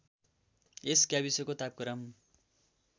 यस गाविसको तापक्रम